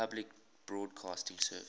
public broadcasting service